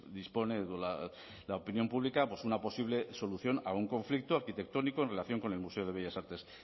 dispone la opinión pública pues una posible solución a un conflicto arquitectónico en relación con el museo de bellas artes